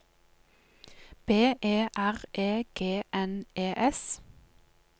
B E R E G N E S